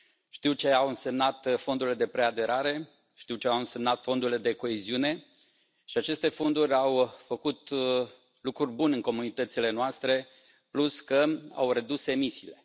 Știu ce au însemnat fondurile de preaderare, știu ce au însemnat fondurile de coeziune, și aceste fonduri au făcut lucruri bune în comunitățile noastre, plus că au redus emisiile.